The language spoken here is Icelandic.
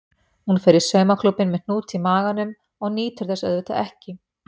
Hún fer í saumaklúbbinn með hnút í maganum og nýtur þess auðvitað ekki.